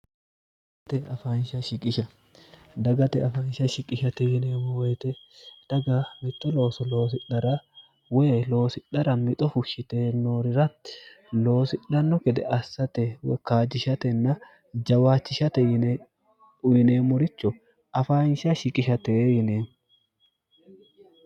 gate dagate afaansha shiqishate yineemmo woyite dhaga mixo looso loosidhara woy loosidhara mixofu shite noorirati loosidhanno gede assate wokkaajjishatenna jawaachishate yine uyineemmoricho afaansha shiqishatee yine